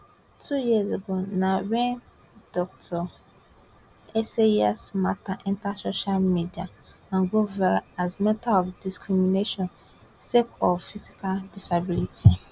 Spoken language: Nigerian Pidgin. two years ago na wen dr esayas mata enta social media and go viral as mata of discrimination sake of physical disability